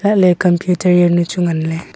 laley computer jaonu chu ngan ley.